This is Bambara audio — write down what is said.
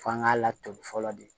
F'an k'a laturu fɔlɔ de